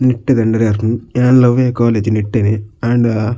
ನಿಟ್ಟೆ ದ ಅಂಡರ್ ಬರ್ಪುಂಡು ಯಾನ್ಲ ಅವ್ವೆ ಕಾಲೇಜ್ ನಿಟ್ಟೆ ನೆ ಆಂಡ.